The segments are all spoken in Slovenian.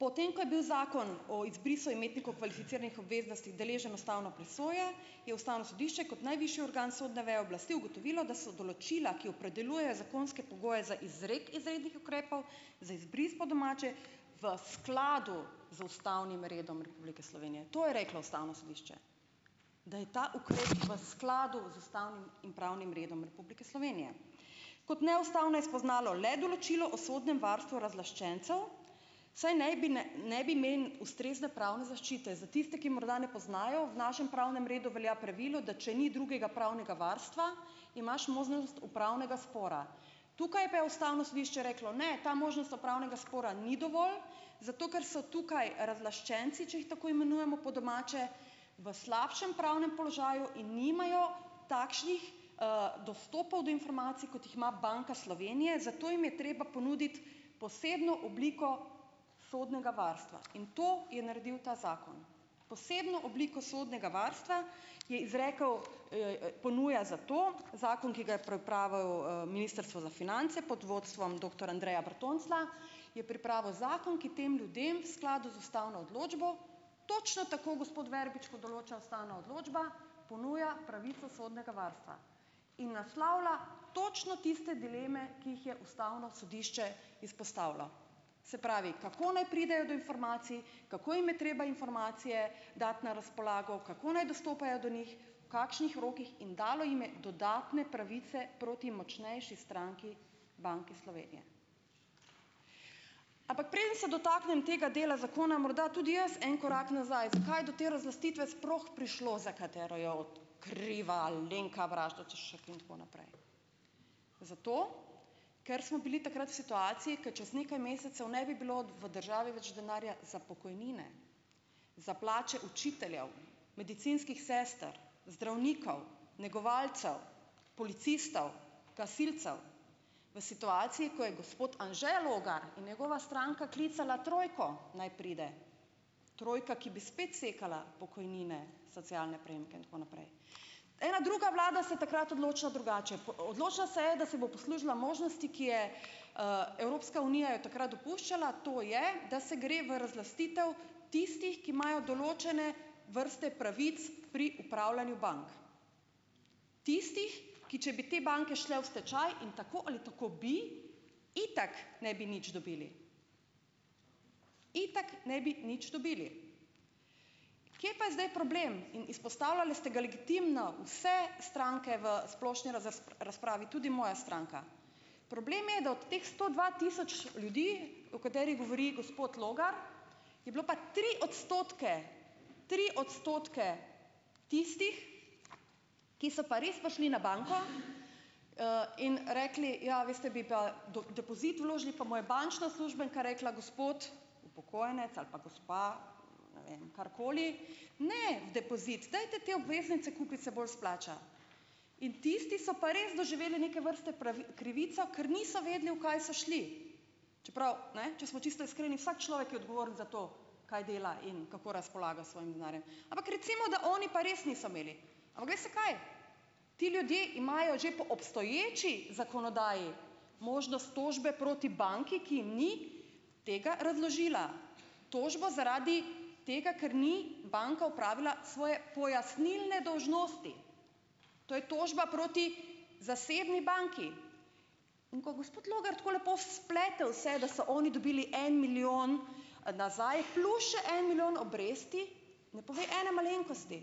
Potem ko je bil zakon o izbrisu imetnikov kvalificiranih obveznosti deležen ustavne presoje, je ustavno sodišče kot najvišji organ sodne veje oblasti ugotovilo, da so določila, ki opredeljuje zakonske pogoje za izrek izrednih ukrepov za izbris, po domače v skladu z ustavnim redom Republike Slovenije, to je reklo ustavno sodišče, da je ta ukrep v skladu z ustavnim in pravnim redom Republike Slovenije, kot neustavno je spoznalo le določilo o sodnem varstvu razlaščencev, saj naj bi ne ne bi imeli ustrezne pravne zaščite. Za tiste, ki morda ne poznajo: v našem pravnem redu velja pravilo, da če ni drugega pravnega varstva, imaš možnost upravnega spora, tukaj pa je ustavno sodišče reklo, ne: "Ta možnost upravnega spora ni dovolj, zato ker so tukaj razlaščenci, če jih tako imenujemo po domače, v slabšem pravnem položaju in nimajo takšnih dostopov do informacij, kot jih ima Banka Slovenije, zato jim je treba ponuditi posebno obliko sodnega varstva." In to je naredil ta zakon, posebno obliko sodnega varstva je izrekel, ponuja zato zakon, ki ga je pripravil ministrstvo za finance pod vodstvom doktor Andreja Bertonclja, je pripravil zakon, ki tem ljudem v skladu z ustavno odločbo, točno tako, gospod Verbič, kot določa ustavna odločba, ponuja pravico sodnega varstva in naslavlja točno tiste dileme, ki jih je ustavno sodišče izpostavilo, se pravi, kako naj pridejo do informacij, kako jim je treba informacije dati na razpolago, kako naj dostopajo do njih, kakšnih rokih, in dalo jim je dodatne pravice proti močnejši stranki Banke Slovenije, ampak preden se dotaknem tega dela zakona morda tudi jaz en korak nazaj, zakaj je do te razlastitve sploh prišlo, za katero jo od kriva Alenka Bratušek in tako naprej. Zato ker smo bili takrat v situaciji, ke čez nekaj mesecev ne bi bilo v državi več denarja za pokojnine, za plače učiteljev, medicinskih sester, zdravnikov, negovalcev, policistov, gasilcev, v situaciji, ko je gospod Anže Logar in njegova stranka klicala trojko, naj pride, trojka, ki bi spet sekala pokojnine, socialne prejemke in tako naprej. Ena druga vlada se je takrat odločila drugače, odločila se je, da se bo poslužila možnosti, ki je Evropska unija jo je takrat dopuščala, to je, da se gre v razlastitev tistih, ki imajo določene vrste pravic pri upravljanju bank, tistih, ki če bi te banke šle v stečaj in tako ali tako bi itak ne bi nič dobili, itak ne bi nič dobili, kje pa je zdaj problem, in izpostavljali ste ga legitimno vse stranke v splošni razpravi, tudi moja stranka, problem je, da od teh sto dva tisoč ljudi, o katerih govori gospod Logar, je bilo pa tri odstotke, tri odstotke tistih, ki so pa res prišli na banko in rekli: "Ja, veste bi pa depozit vložili," pa mu je bančna uslužbenka rekla: "Gospod upokojenec ali pa gospa," ne vem karkoli, "ne v depozit, dajte te obveznice kupiti, se bolj splača." In tisti so pa res doživeli neke vrste krivico, ker niso vedeli, v kaj so šli, čeprav, ne, če smo čisto iskreni, vsak človek je odgovoren za to, kaj dela in kako razpolaga s svojim denarjem, ampak recimo, da oni pa res niso imeli, ampak veste kaj, ti ljudje imajo že po obstoječi zakonodaji možnost tožbe proti banki, ki jim ni tega razložila, tožbo zaradi tega, ker ni banka opravila svoje pojasnilne dolžnosti, to je tožba proti zasebni banki, in ko gospod Logar tako lepo splete vse, da so oni dobili en milijon nazaj plus še en milijon obresti, ne pove ene malenkosti,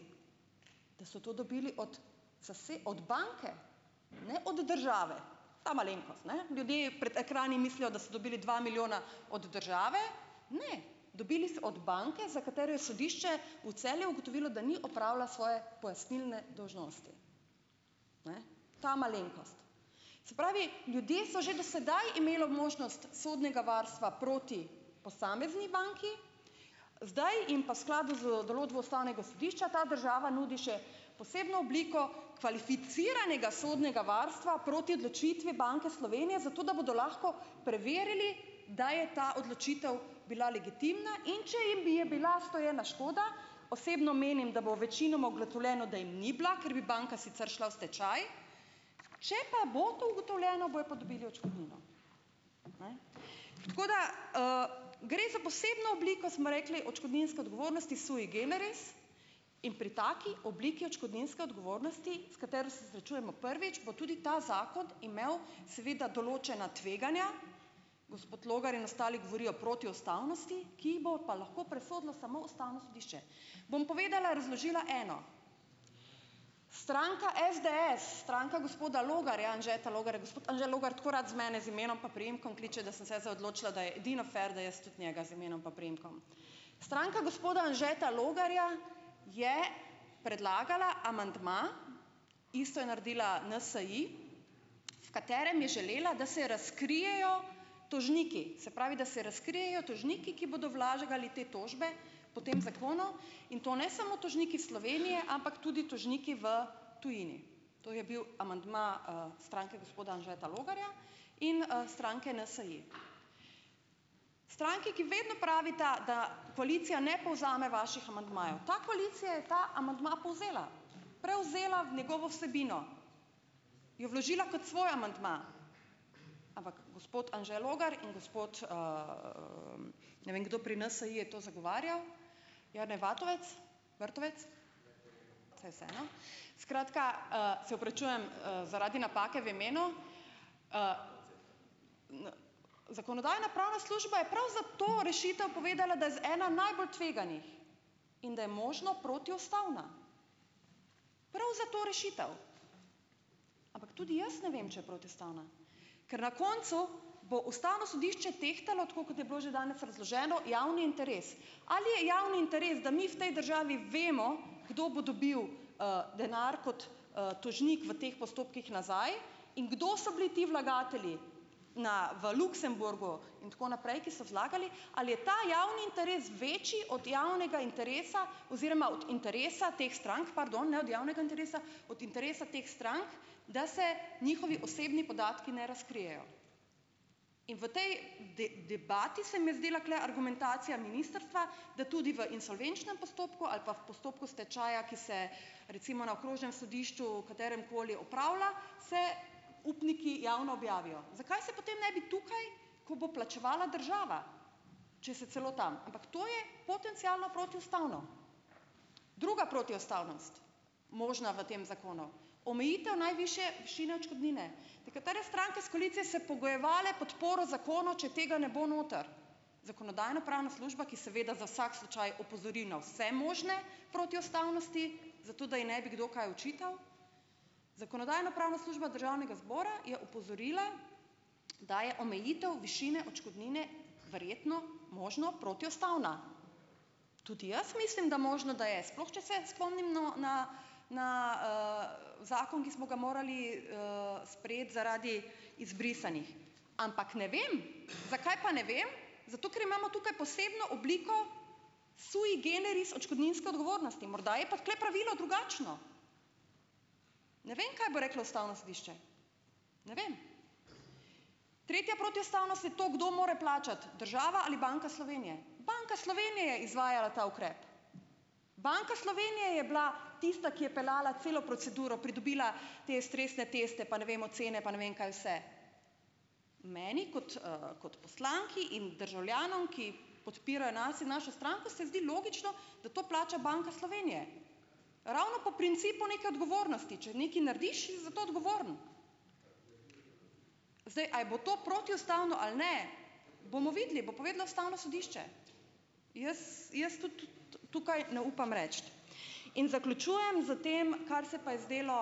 da so to dobili od od banke, ne od države, ta malenkost, ne, ljudje pred ekrani mislijo, da so dobili dva milijona od države, ne, dobili so od banke, za katero je sodišče v Celju ugotovilo, da ni opravila svoje pojasnilne dolžnosti, ta malenkost, se pravi, ljudje so že do sedaj imelo možnost sodnega varstva proti posamezni banki, zdaj jim pa skladu z določbo ustavnega sodišča ta država nudi še posebno obliko kvalificiranega sodnega varstva proti odločitvi Banke Slovenije, zato da bodo lahko preverili, da je ta odločitev bila legitimna, in če je bi je bila storjena škoda, osebno menim, da bo večinoma ugotovljeno, da jim ni bila, ker bi banka sicer šla v stečaj, če pa bo to ugotovljeno, bojo pa dobili odškodnino, tako da gre za posebno obliko, smo rekli, odškodninske odgovornosti sui generis in pri taki obliki odškodninske odgovornosti, s katero se srečujemo prvič, bo tudi ta zakon imel seveda določena tveganja, gospod Logar in ostali govorijo protiustavnosti, ki jih bo pa lahko presodilo samo ustavno sodišče, bom povedala, razložila eno stranka SDS, stranka gospoda Logarja Anžeta Logarja, gospod Anže Logar tako rad z mene z imenom pa priimkom kliče, da sem se jaz zaodločila, da je edino fer, da jaz tudi njega z imenom pa priimkom, stranka gospoda Anžeta Logarja je predlagala amandma, isto je naredila NSi, v katerem je želela, da se razkrijejo tožniki, se pravi, da se razkrijejo tožniki, ki bodo vlagali te tožbe po tem zakonu, in to ne samo tožniki Slovenije, ampak tudi tožniki v tujini, to je bil amandma stranke gospoda Anžeta Logarja in stranke NSi, stranke, ki vedno pravita, da koalicija ne povzame vaših amandmajev, ta koalicija je ta amandma povzela, prevzela v njegovo vsebino, jo vložila kot svoj amandma, ampak gospod Anže Logar in gospod, ne vem kdo pri NSi je to zagovarjal, Jernej Vatovec, Vrtovec, saj je vseeno, skratka, se opravičujem zaradi napake v imenu, zakonodajno-pravna služba je prav za to rešitev povedala, da z ena najbolj tveganih in da je možno protiustavna prav za to rešitev, ampak tudi jaz ne vem, če je protiustavna, ker na koncu bo ustavno sodišče tehtalo, tako kot je bilo že danes razloženo javni interes, ali je javni interes, da mi v tej državi vemo, kdo bo dobil denar kot tožnik v teh postopkih nazaj in kdo so bili ti vlagatelji na v Luksemburgu in tako naprej, ki so vlagali, ali je ta javni interes večji od javnega interesa oziroma od interesa teh strank, pardon, ne, od javnega interesa, od interesa teh strank, da se njihovi osebni podatki ne razkrijejo, in v tej debati se mi je zdela tule argumentacija ministrstva, da tudi v insolvenčnem postopku ali pa v postopku stečaja, ki se recimo na okrožnem sodišču katerem koli opravlja, se upniki javno objavijo, zakaj se potem ne bi tukaj, ko bo plačevala država, če se celo tam, ampak to je potencialno protiustavno, druga protiustavnost možna v tem zakonu omejitev najvišje višine odškodnine, nekatere stranke s koalicije se pogojevale podporo zakonu, če tega ne bo noter, zakonodajno-pravna služba, ki seveda za vsak slučaj opozori na vse možne protiustavnosti, zato da ji ne bi kdo kaj očital, zakonodajno-pravna služba državnega zbora je opozorila, da je omejitev višine odškodnine verjetno možno protiustavna, tudi jaz mislim, da možno, da je, sploh če se spomnimo na na zakon, ki smo ga morali sprejeti zaradi izbrisanih, ampak ne vem, zakaj pa ne vem, zato ker imamo tukaj posebno obliko sui generis odškodninske odgovornosti, morda je pa tule pravilo drugačno, ne vem, kaj bo reklo ustavno sodišče, ne vem, tretja protiustavnost je to, kdo mora plačati, država ali Banka Slovenije, Banka Slovenije je izvajala ta ukrep, Banka Slovenije je bila tista, ki je peljala celo proceduro, pridobila te stresne teste, pa ne vemo cene, pa ne vem, kaj vse, meni kot kot poslanki in državljanov, ki podpirajo nas in našo stranko, se zdi logično, da to plača Banka Slovenije ravno po principu neke odgovornosti, če nekaj narediš, si za to odgovoren, zdaj, a je bo to protiustavno a ne, bomo videli, bo povedlo ustavno sodišče, jaz jaz tukaj ne upam reči in zaključujem s tem, kar se pa je zdelo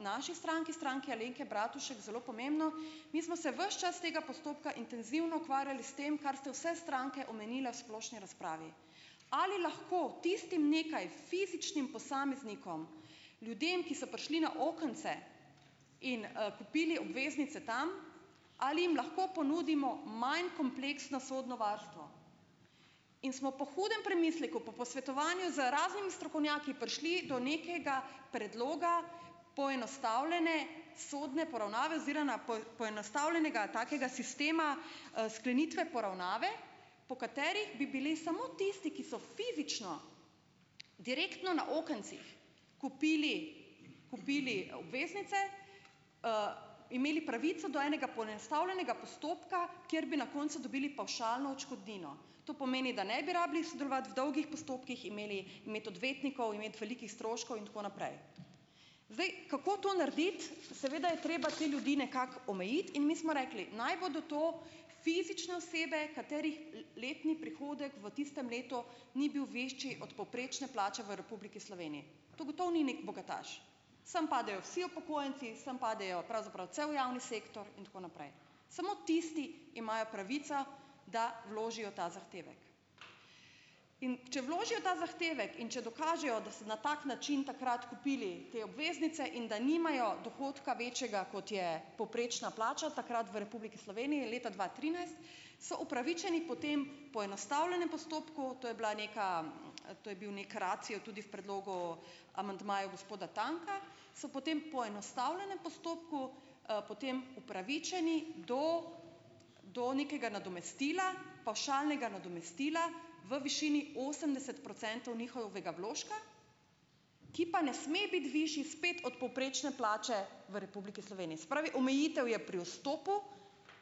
naši stranki, Stranki Alenke Bratušek, zelo pomembno, mi smo se ves čas tega postopka intenzivni ukvarjali s tem, kar ste vse stranke omenile v splošni razpravi, ali lahko tistim nekaj fizičnim posameznikom, ljudem, ki so prišli na okence in kupili obveznice tam, ali jim lahko ponudimo manj kompleksno sodno varstvo in smo po hudem premisleku pa posvetovanju z raznimi strokovnjaki prišli do nekega predloga poenostavljene sodne poravnave oziroma poenostavljenega takega sistema sklenitve poravnave, po kateri bi bili samo tisti, ki so fizično direktno na okencih kupili, kupili obveznice, imeli pravico do enega poenostavljenega postopka, kjer bi na koncu dobili pavšalno odškodnino, to pomeni, da ne bi rabili sodelovati v dolgih postopkih imeli med odvetnikov, imeti velikih stroškov in tako naprej, zdaj, kako to narediti, seveda je treba te ljudi nekako omejiti in mi smo rekli, naj bodo to fizične osebe, katerih letni prihodek v tistem letu ni bil večji od povprečne plače v Republiki Sloveniji, to gotovo ni nek bogataš, sem padejo vsi upokojenci, sem padejo pravzaprav cel javni sektor in tako naprej, samo tisti imajo pravico, da vložijo ta zahtevek, in če vložijo ta zahtevek in če dokažejo, da se na tak način takrat kupili te obveznice in da nimajo dohodka večjega, kot je povprečna plača takrat v Republiki Sloveniji leta dva trinajst, so upravičeni potem poenostavljenem postopku, to je bila neka, to je bil nek racij je tudi v predlogu amandmajev gospoda Tanka, so po tem poenostavljenem postopku potem upravičeni do do nekega nadomestila, pavšalnega nadomestila v višini osemdeset procentov njihovega vložka, ki pa ne sme biti višji spet od povprečne plače v Republiki Sloveniji, se pravi, omejitev je pri vstopu,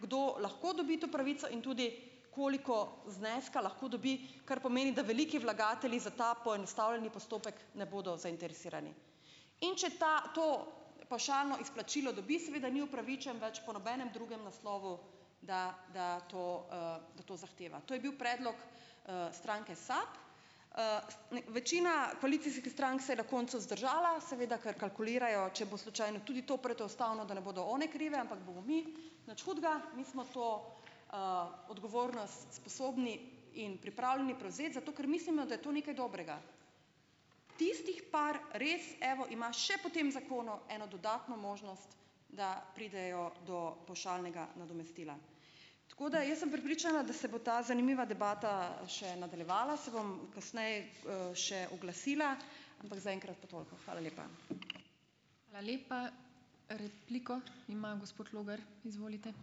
kdo lahko dobi to pravico in tudi koliko zneska lahko dobi, kar pomeni, da veliki vlagatelji za ta poenostavljeni postopek ne bodo zainteresirani, in če ta to pavšalno izplačilo dobi, seveda ni upravičen več po nobenem drugem naslovu, da da to da to zahteva, to je bil predlog stranke SAB, večina koalicijskih strank se je na koncu zadržala, seveda kar kalkulirajo, če bo slučajno tudi to protiustavno, da ne bodo one krive, ampak bomo mi nič hudega, mi smo to odgovornost sposobni in pripravljeni prevzeti, zato ker mislimo, da je to nekaj dobrega, tistih par, res, evo, imaš še po tem zakonu eno dodatno možnost, da pridejo do pavšalnega nadomestila, tako da jaz sem prepričana, da se bo ta zanimiva debata še nadaljevala, se bom kasneje še oglasila, ampak zaenkrat pa toliko. Hvala lepa.